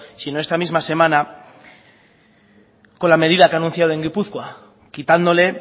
sino esta misma semana con la medida que ha anunciado en gipuzkoa quitándole